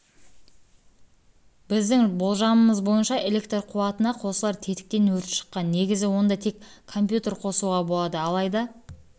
біздің болжамымыз бойынша электр қуатына қосылар тетіктен өрт шыққан негізі онда тек компьютер қосуға болады алайда